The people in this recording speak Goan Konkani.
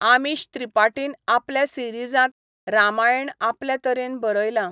आमीश त्रिपाटीन आपल्या सिरिजांत रामायण आपल्या तरेन बरयला.